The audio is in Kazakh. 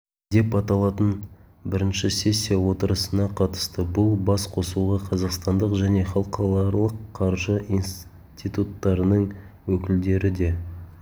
деп аталатын бірінші сессия отырысына қатысты бұл бас қосуға қазақстандық және халықаралық қаржы институттарының өкілдері де